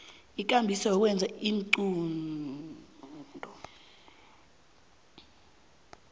ikambiso yokwenza iinqunto